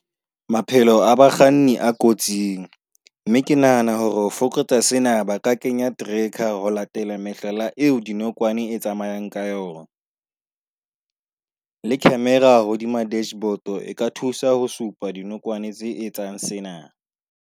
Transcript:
Maphelo a bakganni a kotsing mme ke nahana hore ho fokotsa sena ba ka kenya tracker ho latela mehlala eo dinokwane di tsamayang ka yona le camera hodima dashboard e ka thusa ho supa dinokwane tse etsang sena.